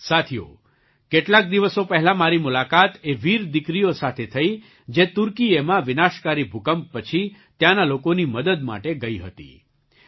સાથીઓ કેટલાક દિવસો પહેલાં મારી મુલાકાત એ વીર દીકરીઓ સાથે થઈ જે તુર્કિએમાં વિનાશકારી ભૂકંપ પછી ત્યાંના લોકોની મદદ માટે ગઈ હતી